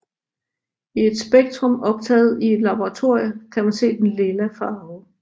I et spektrum optaget i et laboratorium kan man se den lilla farve